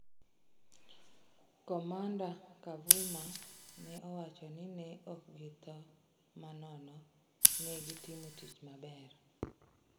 "Komanda Kavuma ne owacho ni ""ne ok githo ma nono, ne gitimo tich maber."